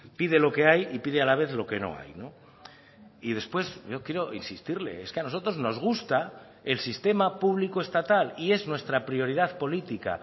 pide lo que hay y pide a la vez lo que no hay no y después yo quiero insistirle es que a nosotros nos gusta el sistema público estatal y es nuestra prioridad política